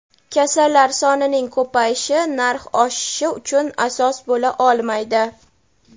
kasallar sonining ko‘payishi narx oshishi uchun asos bo‘la olmaydi.